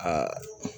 Aa